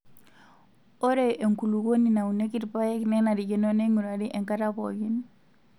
Ore enkulukuoni naunieki irpaek nenarikino neing'urari enkata pookin.